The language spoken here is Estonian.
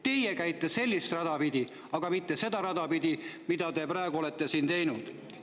Teie käite sellist rada pidi, aga mitte seda rada pidi, mida te praegu olete siin teinud.